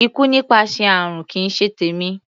Ikú nípasẹ̀ àrùn kì í ṣe tèmi.